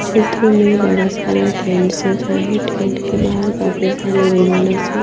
चित्र में बड़ा सारा टैंट सजा है टैंट के बाहर काफी सारे मेहमानों से--